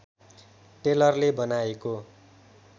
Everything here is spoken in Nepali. टेलरले बनाएको